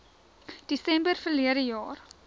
desember verlede jaar